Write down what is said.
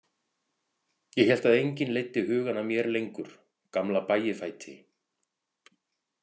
Ég hélt að enginn leiddi hugann að mér lengur, gamla Bægifæti.